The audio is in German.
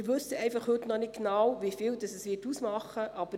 Wir wissen heute einfach noch nicht genau, wie viel dies ausmachen wird.